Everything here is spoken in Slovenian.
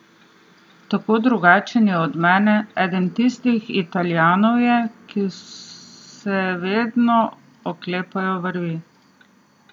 Tako drugačen je od mene, eden tistih Italijanov je, ki se vedno oklepajo vrvi.